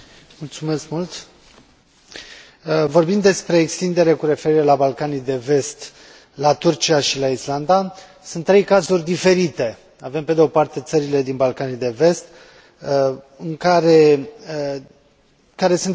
Vorbim despre extindere cu referire la Balcanii de Vest, la Turcia și la Islanda, sunt trei cazuri diferite avem, pe de o parte țările din Balcanii de Vest, care sunt departe de a îndeplini criteriile economice și